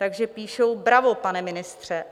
Takže píšou: Bravo, pane ministře!